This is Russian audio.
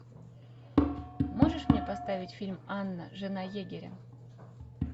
можешь мне поставить фильм анна жена егеря